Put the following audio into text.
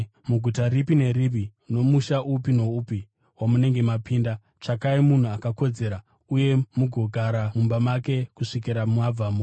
“Muguta ripi neripi nomusha upi noupi wamunenge mapinda, tsvakai munhu akakodzera uye mugogara mumba make kusvikira mabvamo.